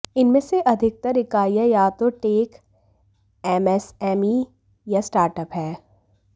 इनमें से अधिकतर इकाइयां या तो टेक एमएसएमई या स्टार्टअप हैं